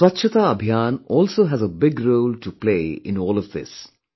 The Swachhata Abhiyan also has a big role to play in all of this